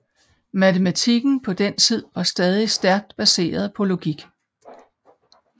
Matematikken på den tid var stadig stærkt baseret på logik